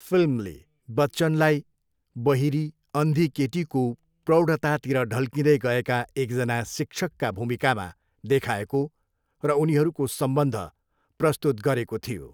फिल्मले बच्चनलाई बहिरी, अन्धी केटीको प्रौढतातिर ढल्किँदै गएका एकजना शिक्षकका भूमिकामा देखाएको र उनीहरूको सम्बन्ध प्रस्तुत गरेको थियो।